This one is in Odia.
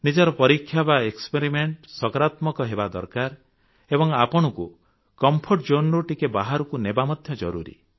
ନିଜର ପରୀକ୍ଷା ବା ଏକ୍ସପେରିମେଣ୍ଟ ସକାରାତ୍ମକ ହେବା ଦରକାର ଏବଂ ଆପଣଙ୍କୁ କମ୍ଫର୍ଟ zoneରୁ ଟିକେ ବାହାରକୁ ନେବା ମଧ୍ୟ ଜରୁରୀ